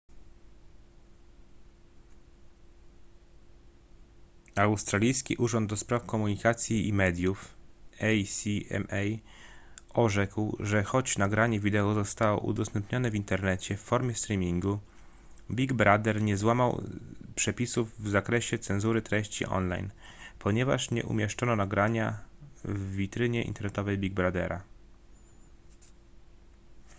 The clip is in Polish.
australijski urząd ds. komunikacji i mediów acma orzekł że choć nagranie wideo zostało udostępnione w internecie w formie streamingu big brother nie złamał przepisów w zakresie cenzury treści online ponieważ nie umieszczono nagrania w witrynie internetowej big brothera